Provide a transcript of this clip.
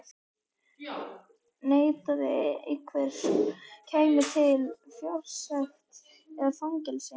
Neitaði einhver, kæmi til fjársekt eða fangelsi.